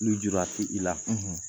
Lujura ti i la.